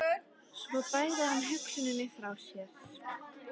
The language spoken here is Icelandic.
Svo bægði hann hugsuninni frá sér.